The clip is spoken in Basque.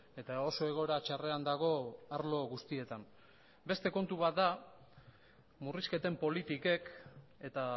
eta oso egoera txarrean dago arlo guztietan beste kontu bat da murrizketen politikek eta